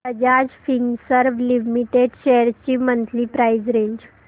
Bajaj Finserv limited shares ची monthly price range